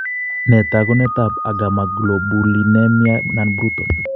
Nee taakunetaab Agammaglobulinemia , non bruton